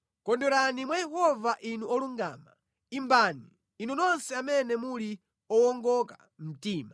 Kondwerani mwa Yehova inu olungama; imbani, inu nonse amene muli owongoka mtima!